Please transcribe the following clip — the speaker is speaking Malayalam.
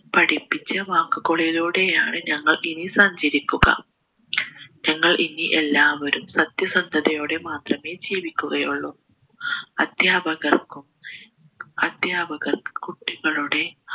പഠിപ്പിച്ചവാക്കുകളിലൂടെയാണ് ഞങ്ങൾ ഇനി സഞ്ചരിക്കുക ഞങ്ങൾ ഇനി എല്ലാവരും സത്യസന്തതയോടെ മാത്രമേ ജീവിക്കുകയുള്ളു അധ്യാപകർക്കും അധ്യാപകർ കുട്ടികളുടെ